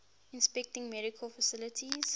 inspecting medical facilities